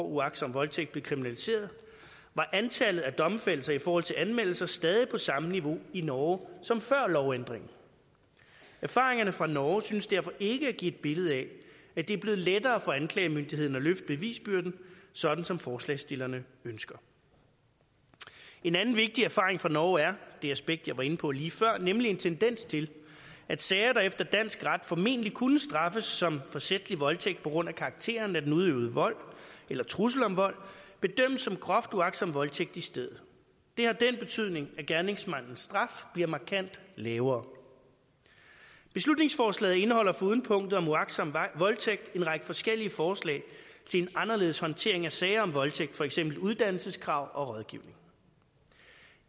uagtsom voldtægt blev kriminaliseret var antallet af domfældelser i forhold til anmeldelser stadig på samme niveau i norge som før lovændringen erfaringerne fra norge synes derfor ikke at give et billede af at det er blevet lettere for anklagemyndigheden at løfte bevisbyrden sådan som forslagsstillerne ønsker en anden vigtig erfaring fra norge er det aspekt jeg var inde på lige før en tendens til at sager der efter dansk ret formentlig kunne straffes som forsætlig voldtægt på grund af karakteren af den udøvede vold eller trussel om vold bedømmes som groft uagtsom voldtægt i stedet det har den betydning at gerningsmandens straf bliver markant lavere beslutningsforslaget indeholder foruden punktet om uagtsom voldtægt en række forskellige forslag til en anderledes håndtering af sager om voldtægt for eksempel uddannelseskrav og rådgivning